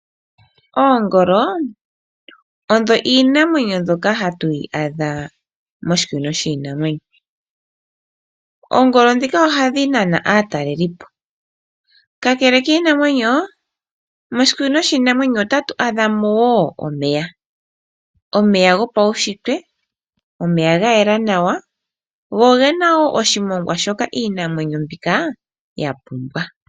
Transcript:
Oongolo odho iinamwenyo mbyoka hatu yi adha moshikunino shiinamwenyo. Oongolo dhika ohadhi nana aatalelipo. Kakele kiinamwenyo moshikunino shiinamwenyo otatu adhamo wo omeya, omeya go paushitwe, omeya ga yela nawa . Go ogena wo sohimongwa shoka iinamwenyo mbika yapumbwa.